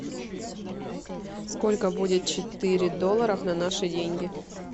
сколько будет четыре доллара на наши деньги